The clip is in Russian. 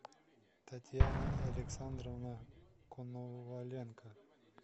татьяна александровна коноваленко